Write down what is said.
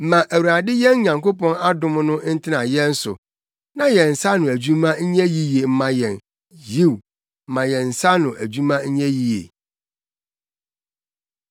Ma Awurade yɛn Nyankopɔn adom no ntena yɛn so; na yɛn nsa ano adwuma nyɛ yiye mma yɛn; yiw, ma yɛn nsa ano adwuma nyɛ yiye.